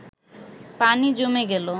পানি জমে গেল